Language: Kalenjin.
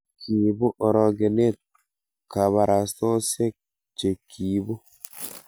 kiibu orokenet kabarastaosiek che kiibu